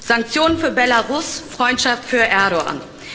Sanktionen für Belarus Freundschaft für Erdoğan.